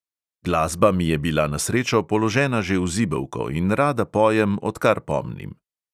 Glasba mi je bila na srečo položena že v zibelko in rada pojem, odkar pomnim.